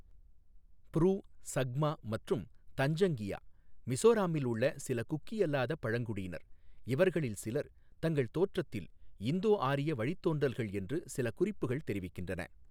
Bru, Chakma மற்றும் தஞ்சங்கியா மிஸோராம்மில் உள்ள சில குக்கி அல்லாத பழங்குடியினர், இவர்களில் சிலர் தங்கள் தோற்றத்தில் இந்தோ ஆரிய வழித்தோன்றல்கள் என்று சில குறிப்புகள் தெரிவிக்கின்றன.